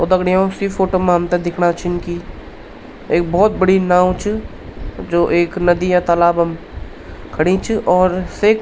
तो दगड़ियों सी फोटो मा हमथे दिखणा छिन की एक भोत बड़ी नाव च जो एक नदी या तालाब म खड़ीं च और सेक --